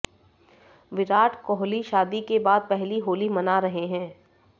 विराट कोहली शादी के बाद पहली होली मना रहे हैं